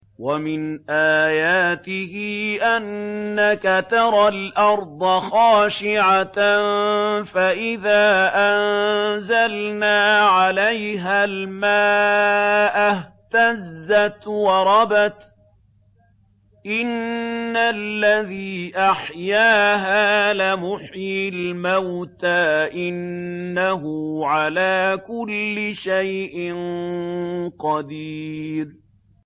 وَمِنْ آيَاتِهِ أَنَّكَ تَرَى الْأَرْضَ خَاشِعَةً فَإِذَا أَنزَلْنَا عَلَيْهَا الْمَاءَ اهْتَزَّتْ وَرَبَتْ ۚ إِنَّ الَّذِي أَحْيَاهَا لَمُحْيِي الْمَوْتَىٰ ۚ إِنَّهُ عَلَىٰ كُلِّ شَيْءٍ قَدِيرٌ